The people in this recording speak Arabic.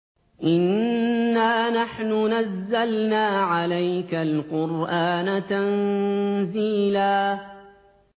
إِنَّا نَحْنُ نَزَّلْنَا عَلَيْكَ الْقُرْآنَ تَنزِيلًا